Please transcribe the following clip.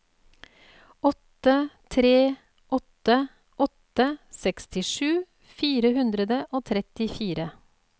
åtte tre åtte åtte sekstisju fire hundre og trettifire